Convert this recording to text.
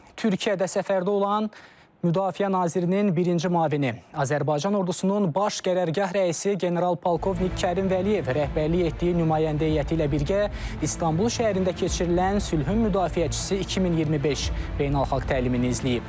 Türkiyədə səfərdə olan Müdafiə Nazirinin birinci müavini, Azərbaycan ordusunun Baş Qərargah rəisi general-polkovnik Kərim Vəliyev rəhbərlik etdiyi nümayəndə heyəti ilə birgə İstanbul şəhərində keçirilən sülhün müdafiəçisi 2025 beynəlxalq təlimini izləyib.